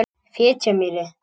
Fitjamýri